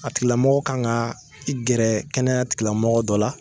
A tigilamɔgɔ kan ka ki gɛrɛ kɛnɛyatilamɔgɔ dɔ la.